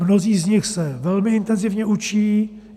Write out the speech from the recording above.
Mnozí z nich se velmi intenzivně učí.